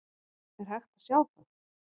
Er hægt að sjá það?